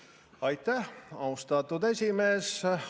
Aitäh, austatud esimees!